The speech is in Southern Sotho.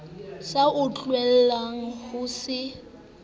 sa o tlwaelang ho se